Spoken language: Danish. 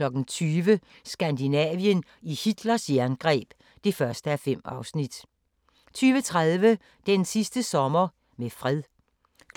20:00: Skandinavien i Hitlers jerngreb (1:5) 20:30: Den sidste sommer med fred